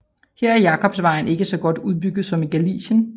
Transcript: Her er Jakobsvejen ikke så godt udbygget som i Galicien